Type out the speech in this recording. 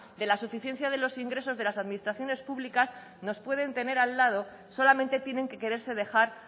de la suficiencia de los ingresos de las administraciones públicas nos pueden tener al lado solamente tienen que quererse dejar